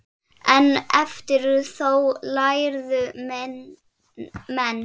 En eftir þóf lærðu menn.